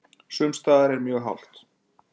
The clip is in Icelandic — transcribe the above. Sums staðar mjög hált